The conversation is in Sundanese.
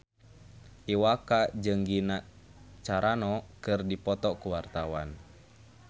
Iwa K jeung Gina Carano keur dipoto ku wartawan